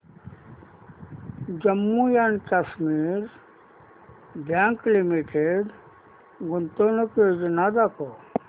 Jammu and Kashmir bank limited गुंतवणूक योजना दाखव